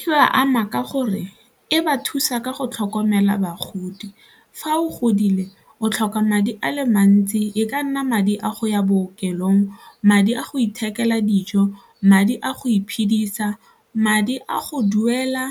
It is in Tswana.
E ba ama ka gore e ba thusa ka go tlhokomela bagodi, fa o godile o tlhoka madi ale mantsi e ka nna madi a go ya bookelong, madi a go ithekela dijo, madi a go iphedisa madi a go duela